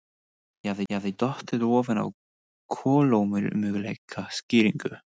Ég hafði dottið ofan á kolómögulega skýringu.